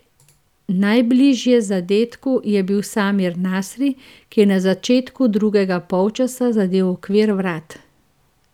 Najbližje zadetku je bil Samir Nasri, ki je na začetku drugega polčasa zadel okvir vrat.